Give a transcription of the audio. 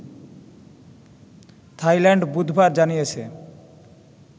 Thailand বুধবার জানিয়েছে